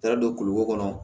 Taara don kulukoro kɔnɔ